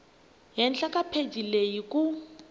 henhla ka pheji leyi ku